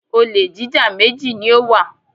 Olè jíjá méjì ni ó wà.